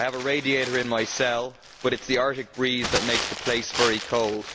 I have a radiator in my cell but it's the Arctic breeze that makes the place very cold.